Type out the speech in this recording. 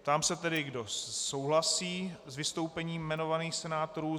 Ptám se tedy, kdo souhlasí s vystoupením jmenovaných senátorů.